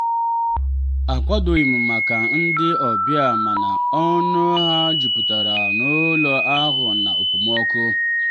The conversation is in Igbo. akwadoghị m maka ndị ọbịa mana ọṅụ ha jupụtara n'ụlọ ahụ na okpomọkụ.